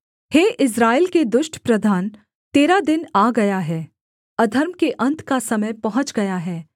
हे इस्राएल दुष्ट प्रधान तेरा दिन आ गया है अधर्म के अन्त का समय पहुँच गया है